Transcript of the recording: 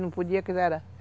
Não podia